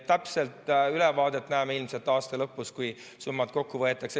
Täpset ülevaadet näeme ilmselt aasta lõpus, kui summad kokku võetakse.